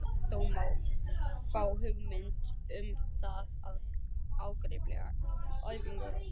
Þó má fá hugmynd um það af ágripi efnisyfirlits.